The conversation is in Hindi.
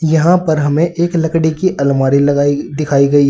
यहां पर हमें एक लकड़ी की अलमारी लगाई दिखाई गई है।